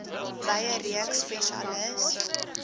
wye reeks spesialis